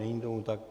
Není tomu tak.